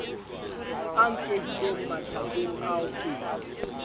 a nkehile mathakeng ao ke